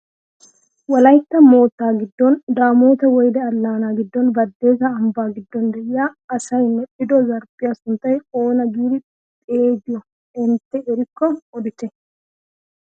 Wolaytta moottaa giddon damoota weyde allaanaa giddon badessa ambbaa giddon de'iyaa asay medhido zarphphiyaa sunttaa oona giidi xeegiyoo intte erikko odite?